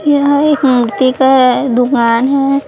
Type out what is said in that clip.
यह एक मूर्ति का ये दुकान है।